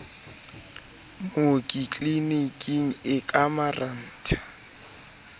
mooki tliliniking e ka marantha